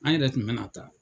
An yɛrɛ kun be na taa.